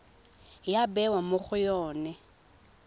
ya bewa mo go yone